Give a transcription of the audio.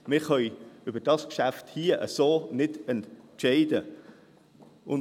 Wir können über dieses Geschäft so nicht entscheiden.